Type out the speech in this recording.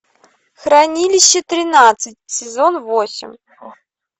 хранилище тринадцать сезон восемь